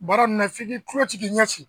Baara nin na f'i k'i kulo ci k'i ɲɛ ci